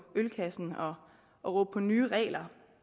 ølkassen og råbe på nye regler